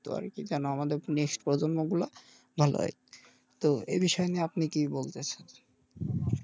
তো আরকি জানো আমাদের next প্রজন্ম গুলো ভালো হয় তো এ বিষয় নিয়ে আপনি কী বলতে চাচ্ছেন?